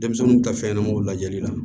Denmisɛnninw ka fɛn ɲɛnamaw lajɛli la